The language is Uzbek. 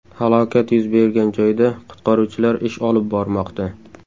Halokat yuz bergan joyda qutqaruvchilar ish olib bormoqda.